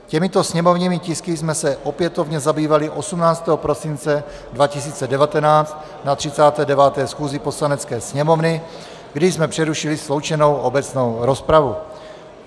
Těmito sněmovními tisky jsme se opětovně zabývali 18. prosince 2019 na 39. schůzi Poslanecké sněmovny, kdy jsme přerušili sloučenou obecnou rozpravu.